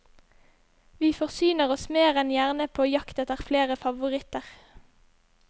Vi forsyner oss mer enn gjerne på jakt etter flere favoritter.